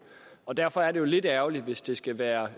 og derfor er det jo lidt ærgerligt hvis det skal være